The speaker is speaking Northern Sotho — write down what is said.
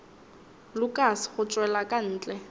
lukas go tšwela ka ntle